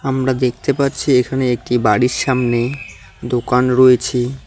আমরা দেখতে পারছি এখানে একটি বাড়ির সামনে দোকান রয়েছে।